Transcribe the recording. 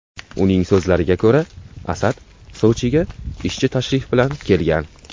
Uning so‘zlariga ko‘ra, Asad Sochiga ishchi tashrif bilan kelgan.